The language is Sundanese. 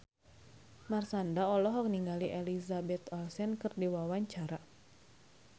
Marshanda olohok ningali Elizabeth Olsen keur diwawancara